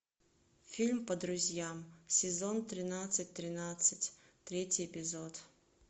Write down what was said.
фильм по друзьям сезон тринадцать тринадцать третий эпизод